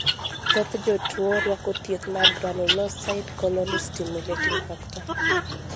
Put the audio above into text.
Thoth jotuo rwako thieth mar granulocyte colony stimulating factor (G CSF).